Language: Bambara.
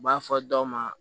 U b'a fɔ dɔ ma